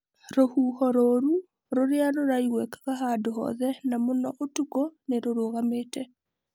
Rũhuho rũũru rũria rũraiguĩkaga handũ hothe na mũno ũtukũ nĩ rũrũgamĩte.